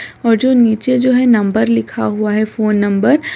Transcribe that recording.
और जो नीचे जो है नंबर लिखा हुआ है फोन नंबर --